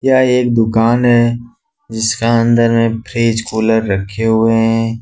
यह एक दुकान है जिसका अंदर में फ्रिज कूलर रखे हुए हैं।